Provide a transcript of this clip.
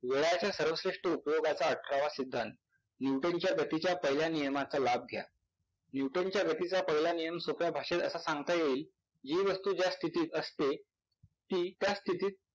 वेळाच्या सर्वश्रेष्ठ उपयोगाचा अठरावा सिद्धांत. Nuton च्या गतीच्या पहिल्या नियमाचा लाभ घ्या. Nuton च्या गतीचा पहिला नियम असा सांगता येईल, जी व्यक्ती ज्या स्थितीत असते ती त्या स्थितीत